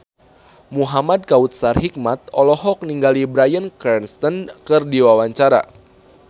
Muhamad Kautsar Hikmat olohok ningali Bryan Cranston keur diwawancara